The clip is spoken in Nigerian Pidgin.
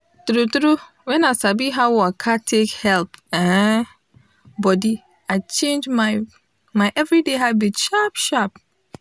true true when i sabi how waka take help um body i change my my everyday habit sharp sharp